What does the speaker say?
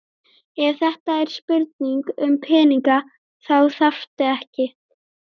Ef þetta er spurning um peninga þá þarftu ekki.